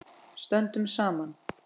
Stöndum saman.